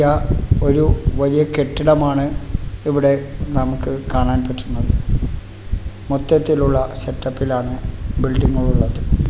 ഇതാ ഒരു വലിയ കെട്ടിടമാണ് ഇവിടെ നമുക്ക് കാണാൻ പറ്റുന്നത് മൊത്തത്തിലുള്ള സെറ്റപ്പിലാണ് ബിൽഡിംഗ് ഉള്ളത്.